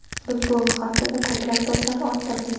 Biz bu haftada ko‘plab do‘stlar orttirdik.